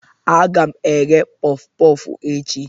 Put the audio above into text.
Aga m eghe pọf pọf echi.